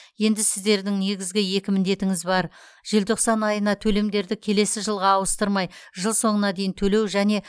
енді сіздердің негізгі екі міндетіңіз бар желтоқсан айына төлемдерді келесі жылға ауыстырмай жыл соңына дейін төлеу және